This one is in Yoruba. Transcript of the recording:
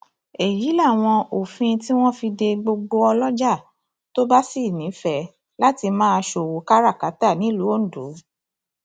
èyí làwọn òfin tí wọn fi de gbogbo ọlọjà tó bá sì nífẹẹ láti máa ṣòwò káràkátà nílùú ondo